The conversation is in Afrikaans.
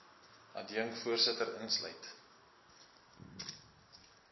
adjunk voorsitter insluit